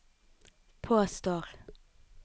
påstår